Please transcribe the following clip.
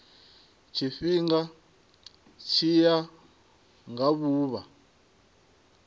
tshifhinga tshi ya nga vhuvha